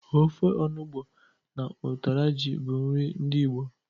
Ofe onụgbọ na ụtara ji bụ nri ndị Igbo.